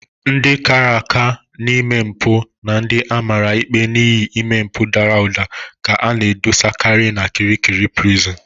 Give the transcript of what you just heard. Ndị kara aka n'ime mpụ na ndị amara ikpe n'ihi ime mpụ dara ụda ka a ga-edosakari n'Kirikiri Prison.